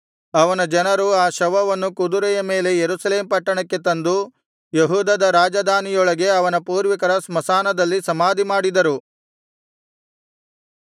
ಅವನ ಜನರು ಆ ಶವವನ್ನು ಕುದುರೆಯ ಮೇಲೆ ಯೆರೂಸಲೇಮ್ ಪಟ್ಟಣಕ್ಕೆ ತಂದು ಯೆಹೂದದ ರಾಜಧಾನಿಯೊಳಗೆ ಅವನ ಪೂರ್ವಿಕರ ಸ್ಮಶಾನದಲ್ಲಿ ಸಮಾಧಿಮಾಡಿದರು